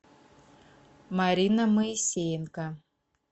марина моисеенко